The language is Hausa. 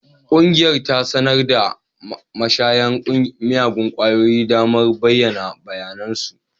Ƙungiyar ta sanar wa mashayan miyagun kwayoyi damar bayyana bayanan su